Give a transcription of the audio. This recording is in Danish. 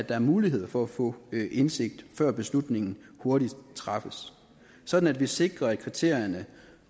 er mulighed for at få indsigt før beslutningen hurtigt træffes sådan at vi sikrer at kriterierne